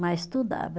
Mas estudava.